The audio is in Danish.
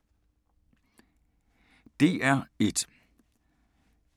DR1